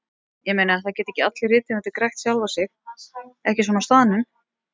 Ég meina, það geta ekki allir rithöfundar grætt sjálfa sig, ekki svona á staðnum.